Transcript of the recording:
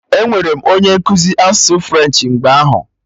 Enwere m onye nkụzi asụsụ French mgbe ahụ